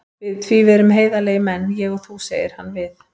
Því við erum heiðarlegir menn, ég og þú, segir hann við